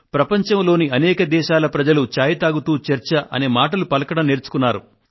ప్రపంచంలోని అనేక దేశాల ప్రజలు చాయ్ తాగుతూ చర్చ అనే మాటలు పలకడం నేర్చుకున్నారు